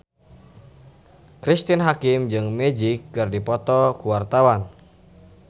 Cristine Hakim jeung Magic keur dipoto ku wartawan